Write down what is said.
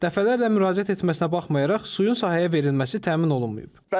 Dəfələrlə müraciət etməsinə baxmayaraq suyun sahəyə verilməsi təmin olunmayıb.